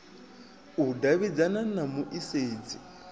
u davhidzana na mu isedzi